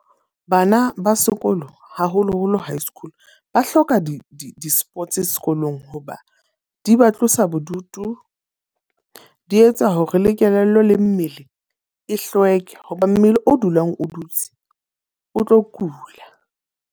Bana ba sekolo, haholo-holo high school. Ba hloka di di di-sports sekolong hoba di ba tlosa bodutu, di etsa hore le kelello le mmele, e hlweke. Ho ba mmele o dulang o dutse o tlo kula.